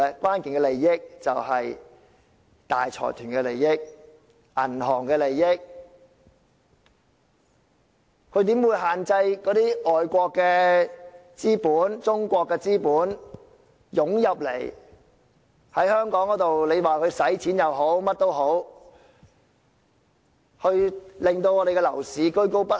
關鍵利益便是大財團和銀行的利益，它怎會限制外國或中國的資本湧進香港——不管是消費或作其他用途——以免香港的樓市居高不下？